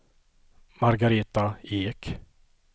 Margaretha Ek